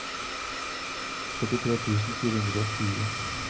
førtitre tusen fire hundre og tjue